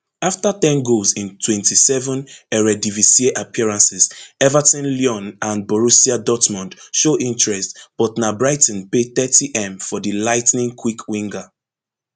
afta ten goals in twenty-seven eredivisie appearances everton lyon and borussia dortmund show interest but na brighton pay thirtym for di lightning quick winger